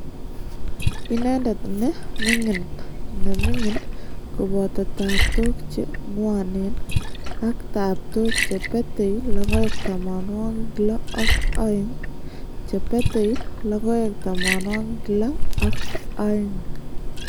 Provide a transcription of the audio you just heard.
Ineendet ne ming'in ne ming'in kobooto taaptook che ng'woneen, ak taaptook che petei logoek tamanwogik lo ak aeng', che petei logoek tamanwogik lo ak aeng'.